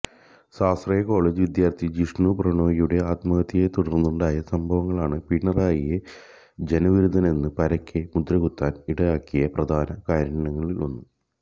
സ്വാശ്രയകോളേജ് വിദ്യാര്ഥി ജിഷ്ണു പ്രണോയിയുടെ ആത്മഹത്യയെത്തുടര്ന്നുണ്ടായ സംഭവങ്ങളാണ് പിണറായിയെ ജനവിരുദ്ധനെന്ന് പരക്കെ മുദ്രകുത്താന് ഇടയാക്കിയ പ്രധാന കാര്യങ്ങളിലൊന്ന്